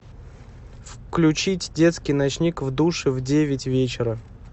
включить детский ночник в душе в девять вечера